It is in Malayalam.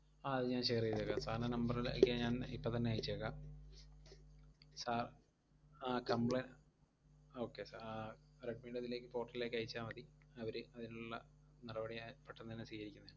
ആഹ് അത് ഞാൻ share എയ്‌തേക്കാം, sir ൻറെ number ലേക്ക് ഞാൻ ഇപ്പം തന്നെ അയച്ചേക്കാം. സ~ ആഹ് complai~ okay sir ആഹ് റെഡ്‌മിടെ ഇതിലേക്ക് portal ലേക്ക് അയച്ചാ മതി. അവര് അതിനൊള്ള നടപടിയായി പെട്ടന്നു തന്നെ